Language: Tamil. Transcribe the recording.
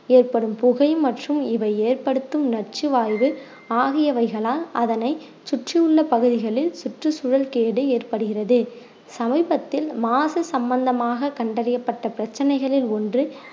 ஏற்படும் புகை மற்றும் இவை ஏற்படுத்தும் நச்சுவாய்வு ஆகியவைகளால் அதனை சுற்றியுள்ள பகுதிகளில் சுற்றுச்சூழல் கேடு ஏற்படுகிறது சமீபத்தில் மாசு சம்பந்தமாக கண்டறியப்பட்ட பிரச்சனைகளில் ஒண்று